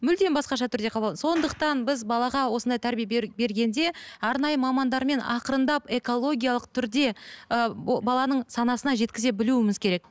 мүлдем басқаша түрде сондықтан біз балаға осындай тәрбие бергенде арнайы мамандармен ақырындап экологиялық түрде ыыы ол баланың санасына жеткізе білуіміз керек